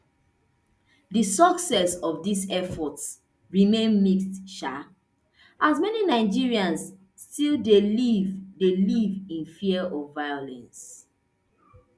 di success of dis efforts remain mixed um as many nigerians still dey live dey live in fear of violence